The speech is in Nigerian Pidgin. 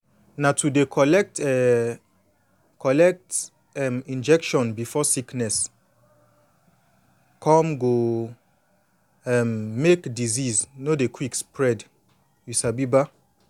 na to dey collect um collect um injection before sickness come go um make disease no dey quick spread you sabi ba